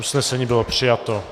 Usnesení bylo přijato.